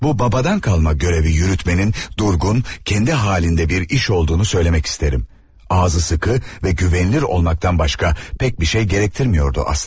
Bu babadan qalma görəvi yürütmenin durğun, kəndi halında bir iş olduğunu söyləmək istərəm, ağzı sıxı və güvenilir olmaktan başqa pek bir şey gərəktirmiyordu əslində.